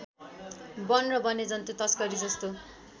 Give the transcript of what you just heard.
वन र वन्यजन्तु तस्करी जस्तो